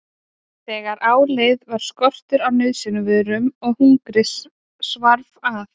Þegar á leið varð skortur á nauðsynjavörum og hungrið svarf að.